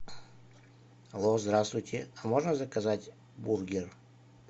алло здравствуйте а можно заказать бургер